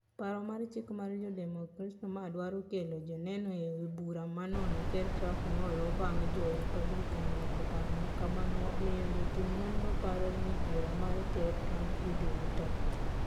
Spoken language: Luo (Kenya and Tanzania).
Paro mar chik mar jodemokrats mardwaro kelo joneno ebura manono ker trump nolo bang jo republican loko paro makamano omiyo jotim nonro paro ne bura mar ker trump idhi wit oko.